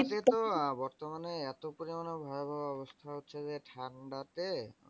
বর্তমানে এতো পরিমান ভয়াভয় অবস্থা হচ্ছে যে, ঠান্ডাতে